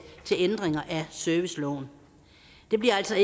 til ændringer af serviceloven det bliver altså